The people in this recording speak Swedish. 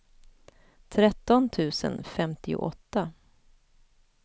tretton tusen femtioåtta